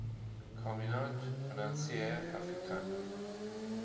communaute financiere africaine